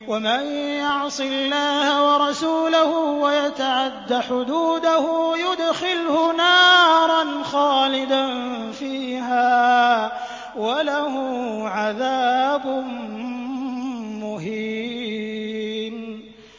وَمَن يَعْصِ اللَّهَ وَرَسُولَهُ وَيَتَعَدَّ حُدُودَهُ يُدْخِلْهُ نَارًا خَالِدًا فِيهَا وَلَهُ عَذَابٌ مُّهِينٌ